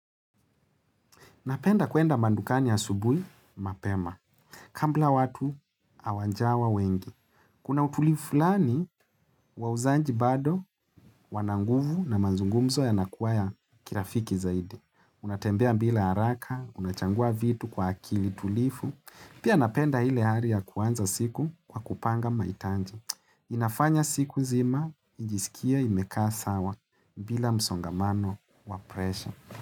Napenda kuenda madukani asubuhi, mapema. Kabla watu, hawajawa wengi. Kuna utulivu fulani, wauzaji bado, wana nguvu na mazungumzo yanakuwa ya kirafiki zaidi. Unatembea bila haraka, unachagua vitu kwa akili tulivu. Pia napenda ile hali ya kuanza siku kwa kupanga mahitaji. Inafanya siku nzima, nijisikie imekaa sawa, bila msongamano wa presha.